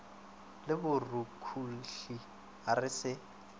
le borukhuhli a re se